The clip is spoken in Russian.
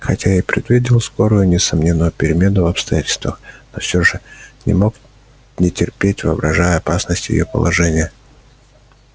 хотя я и предвидел скорую и несомненную перемену в обстоятельствах но все же не мог не трепетать воображая опасность её положения